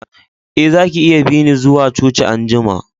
Eh, zaki iya bi ni zuwa coci an'jumma.